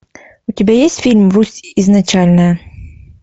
у тебя есть фильм русь изначальная